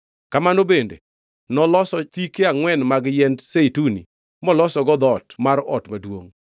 Kamano bende noloso thike angʼwen mag yiend zeituni molosogo dhoot mar ot maduongʼ.